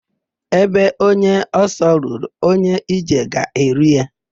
Ebe onye ọsọ ruru, onye ije ga-eru ya.